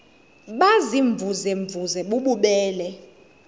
baziimvuze mvuze bububele